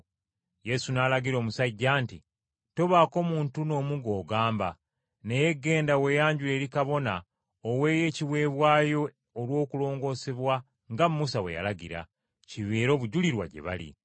Yesu n’alagira omusajja nti, “Tobaako muntu n’omu gw’ogamba, naye genda weeyanjule eri kabona oweeyo ekiweebwayo olw’okulongosebwa nga Musa bwe yalagira, kibeere obujulirwa gye bali.”